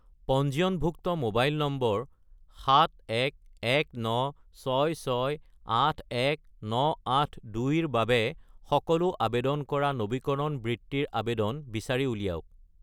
পঞ্জীয়নভুক্ত মোবাইল নম্বৰ 71196681982 -ৰ বাবে সকলো আবেদন কৰা নবীকৰণ বৃত্তিৰ আবেদন বিচাৰি উলিয়াওক।